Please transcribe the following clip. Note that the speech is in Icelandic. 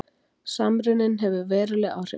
Samruninn hefur veruleg áhrif